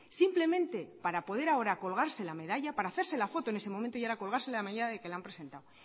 simplemente para poder ahora colgarse la medalla para hacerse la foto en ese momento y ahora colgarse la medalla de que la han presentado